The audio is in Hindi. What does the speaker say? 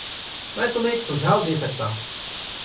मैं तुम्हें एक सुझाव दे सकता हूँ।